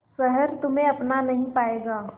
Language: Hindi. शहर तुम्हे अपना नहीं पाएगा